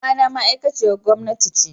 mamana ma aikaciyar gomna.